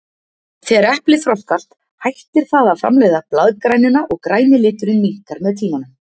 Þegar eplið þroskast hættir það að framleiða blaðgrænuna og græni liturinn minnkar með tímanum.